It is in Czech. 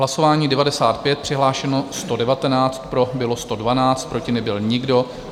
Hlasování 95, přihlášeno 119, pro bylo 112, proti nebyl nikdo.